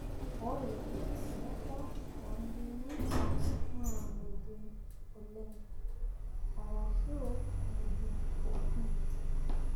ore ebata oonkirnyany naa mejing oleng ashu mejing' opi